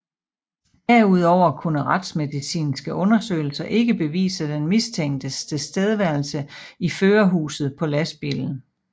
Derudover kunne retsmedicinske undersøgelser ikke bevise den mistænktes tilstedeværelse i førerhuset på lastbilen